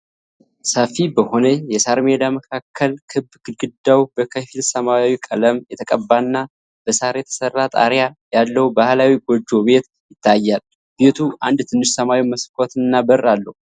ሰፊ በሆነ የሳር ሜዳ መካከል ክብ፣ ግድግዳው በከፊል ሰማያዊ ቀለም የተቀባና በሳር የተሰራ ጣሪያ ያለው ባህላዊ ጎጆ ቤት ይታያል። ቤቱ አንድ ትንሽ ሰማያዊ መስኮትና በር አለው።